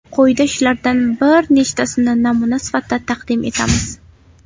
Quyida shulardan bir nechtasini namuna sifatida taqdim etamiz .